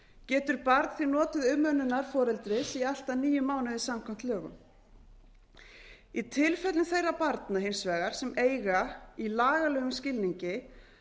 getur barn því notið umönnunar foreldris í allt að níu mánuði samkvæmt lögunum í tilfellum þeirra barna hins vegar sem eiga í lagalegum skilningi